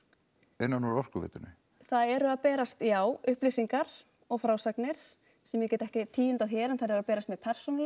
innan úr Orkuveitunni það eru að berast já upplýsingar og frásagnir sem ég get ekki tíundað hér en þær eru að berast mér persónulega